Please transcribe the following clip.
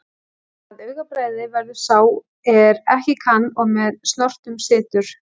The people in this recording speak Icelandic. Að augabragði verður sá er ekki kann og með snotrum situr.